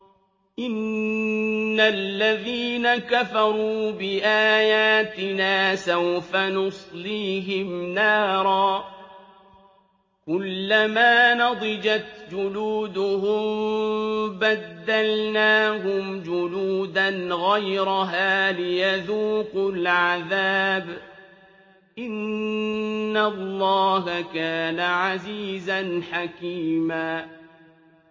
إِنَّ الَّذِينَ كَفَرُوا بِآيَاتِنَا سَوْفَ نُصْلِيهِمْ نَارًا كُلَّمَا نَضِجَتْ جُلُودُهُم بَدَّلْنَاهُمْ جُلُودًا غَيْرَهَا لِيَذُوقُوا الْعَذَابَ ۗ إِنَّ اللَّهَ كَانَ عَزِيزًا حَكِيمًا